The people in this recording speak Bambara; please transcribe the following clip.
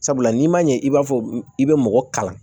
Sabula n'i ma ɲɛ i b'a fɔ i bɛ mɔgɔ kalan